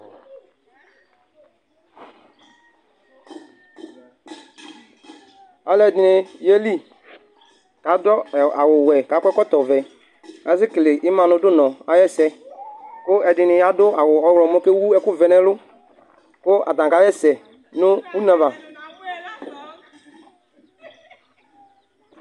Alʋɛdɩnɩ yeli, kʋ asʋ awʋwɛ kʋ akɔ ɛkɔtɔvɛ. Asekele ima nʋ dʋnɔ ayʋ ɛsɛ. Kʋ ɛdɩnɩ adʋ awʋ ɔwlɔmɔ kʋ ewʋ ɛkʋvɛ nʋ ɛlʋ, kʋ atanɩ kasɛsɛ nʋ une ava.